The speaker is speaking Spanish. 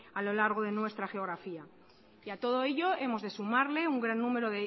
a lo largo de nuestra geografía y a todo ello hemos de sumarle un gran número